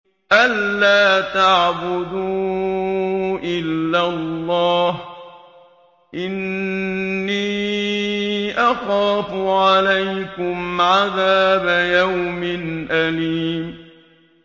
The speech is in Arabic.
أَن لَّا تَعْبُدُوا إِلَّا اللَّهَ ۖ إِنِّي أَخَافُ عَلَيْكُمْ عَذَابَ يَوْمٍ أَلِيمٍ